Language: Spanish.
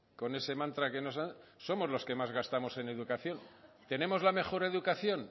con ese mantra que nos dan somos los que más gastamos en educación tenemos la mejor educación